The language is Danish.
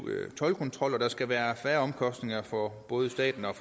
toldkontrol og der skal være færre omkostninger for både staten og